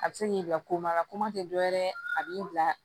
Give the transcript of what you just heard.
A bɛ se k'i bila komaga tɛ dɔ wɛrɛ ye a b'i bila